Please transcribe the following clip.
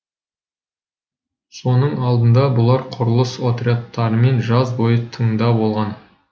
соның алдында бұлар құрылыс отрядтарымен жаз бойы тыңда болған